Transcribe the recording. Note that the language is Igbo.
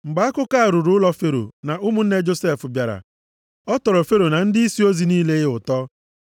Mgbe akụkọ a ruru ụlọ Fero na ụmụnne Josef bịara, ọ tọrọ Fero na ndịisi ozi niile ya ụtọ.